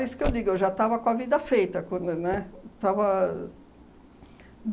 É isso que eu digo, eu já estava com a vida feita, quando, né, estava